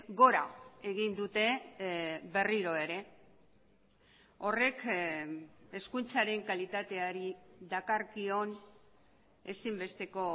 gora egin dute berriro ere horrek hezkuntzaren kalitateari dakarkion ezinbesteko